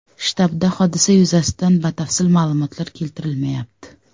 Shtabda hodisa yuzasidan batafsil ma’lumotlar keltirilmayapti.